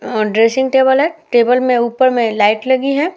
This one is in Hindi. और ड्रेसिंग टेबल है। टेबल में ऊपर में लाइट लगी है।